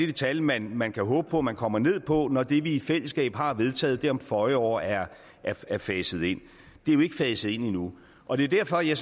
det tal man man kan håbe på at man kommer ned på når det vi i fællesskab har vedtaget om føje år er faset ind det er jo ikke faset ind endnu og det er derfor jeg